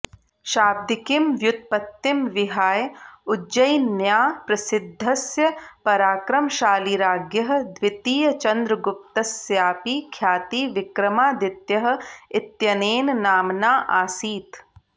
शाब्दिकीं व्युत्पत्तिं विहाय उज्जयिन्याः प्रसिद्धस्य पराक्रमशालीराज्ञः द्वितीयचन्द्रगुप्तस्यापि ख्यातिः विक्रमादित्यः इत्यनेन नाम्ना आसीत्